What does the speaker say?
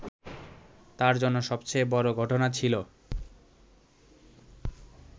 তাঁর জন্য সবচেয়ে বড় ঘটনা ছিল